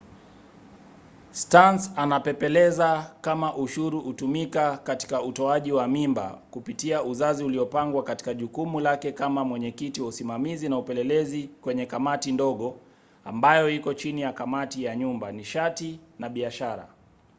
stearns anapepeleza kama ushuru hutumika katika utoaji wa mimba kupitia uzazi uliopangwa katika jukumu lake kama mwenyekiti wa usimamizi na upelelezi kwenye kamati ndogo ambayo iko chini ya kamati ya nyumba nishati na biashara